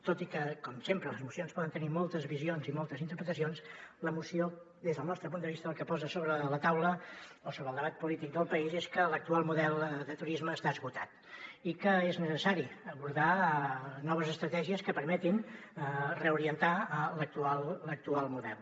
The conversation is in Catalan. tot i que com sempre les mocions poden tenir moltes visions i moltes interpretacions la moció des del nostre punt de vista el que posa sobre la taula o sobre el debat polític del país és que l’actual model de turisme està esgotat i que és necessari abordar noves estratègies que permetin reorientar l’actual model